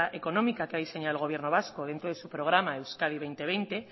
económica que ha diseñado el gobierno vasco dentro de su programa euskadi dos mil veinte